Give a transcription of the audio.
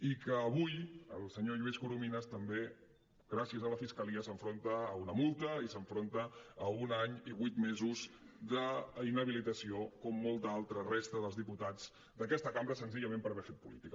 i avui el senyor lluís corominas també gràcies a la fiscalia s’enfronta a una multa i s’enfronta a un any i vuit mesos d’inhabilitació com molta altra resta dels diputats d’aquesta cambra senzillament per haver fet política